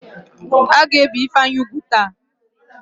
A ga-ébè Ifeanyị úgwù taa?